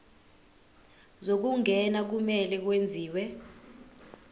zokungena kumele kwenziwe